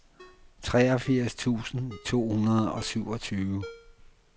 treogfirs tusind to hundrede og syvogtyve